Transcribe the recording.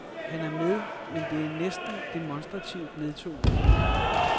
Han er med, men det er næsten demonstrativt nedtonet.